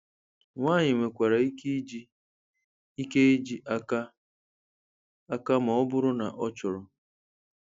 Nwanyị nwekwara ike iji ike iji aka aka ma ọ bụrụ na ọ chọrọ